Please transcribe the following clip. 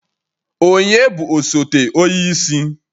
Ònye bụ osote onye isi?